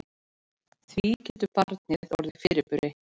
Því getur barnið orðið fyrirburi.